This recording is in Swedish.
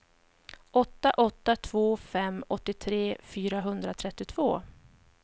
åtta åtta två fem åttiotre fyrahundratrettiotvå